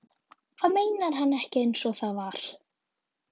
Hvað meinar hann ekki einsog það var?